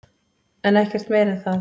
En ekkert meira en það.